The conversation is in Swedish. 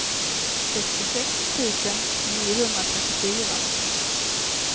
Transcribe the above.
sextiosex tusen niohundratrettiofyra